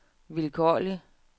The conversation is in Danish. vilkårlig